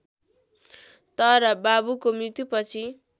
तर बाबुको मृत्युपछि